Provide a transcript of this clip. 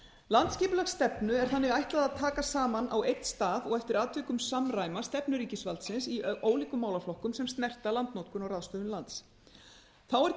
landsskipulagsstefnu er þannig ætlað að taka saman á einn stað og eftir atvikum samræma stefnu ríkisvaldsins í ólíkum málaflokkum sem snerta landnotkun og ráðstöfun lands einnig er